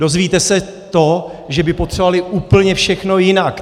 Dozvíte se to, že by potřebovali úplně všechno jinak.